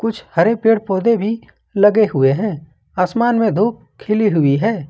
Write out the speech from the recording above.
कुछ हरे पेड़ पौधे भी लगे हुए हैं आसमान में धूप खिली हुई है।